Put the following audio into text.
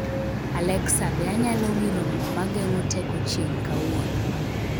Alexa, be anyalo wiro mo mageng'o teko chieng' kawuono